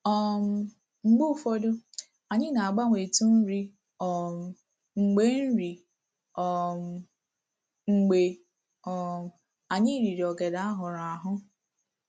um Mgbe ụfọdụ, anyị na-agbanwetụ nri um mgbe nri um mgbe um anyị riri ogede a hụrụ ahụ